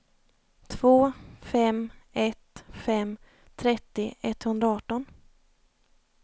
två fem ett fem trettio etthundraarton